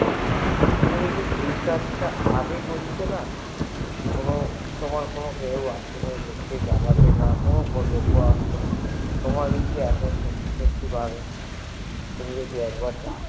তুমি যদি এই কাজটা আগে করতে না তোমাকে কেউ জেলাতে আস্ত না কোনো লোক আসতো না তুমি যদি সততই একবার ডাকতে